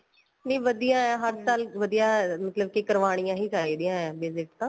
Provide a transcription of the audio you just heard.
ਨੀਂ ਵਧੀਆ ਏ ਹਰ ਸਾਲ ਵਧੀਆ ਮਤਲਬ ਕੀ ਕਰਵਾਨੀਆਂ ਹੀ ਚਾਹੀਦੀ ਏ visit ਤਾਂ